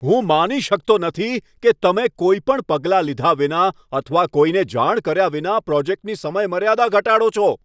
હું માની શકતો નથી કે તમે કોઈ પણ પગલાં લીધા વિના અથવા કોઈને જાણ કર્યા વિના પ્રોજેક્ટની સમયમર્યાદા ઘટાડો છો.